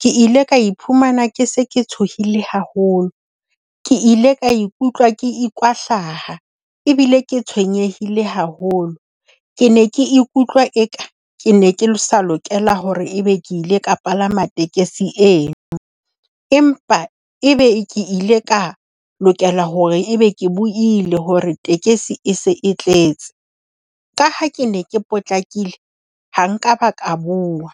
ke ile ka iphumana ke se ke tshohile haholo. Ke ile ka ikutlwa ke ikwahlaha ebile ke tshwenyehile haholo. Ke ne ke ikutlwa eka ke ne ke le sa lokela hore ebe ke ile ka palama tekesi eno, empa e be ke ile ka lokela hore ebe ke buile hore tekesi e se e tletse. Ka ha ke ne ke potlakile ha nkaba ka bua.